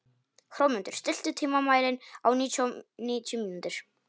Hrómundur, stilltu tímamælinn á níutíu mínútur.